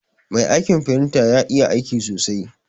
Mai aiƙin firinta ƴa iƴa aiƙi sosai.